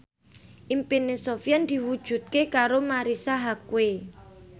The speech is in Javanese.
impine Sofyan diwujudke karo Marisa Haque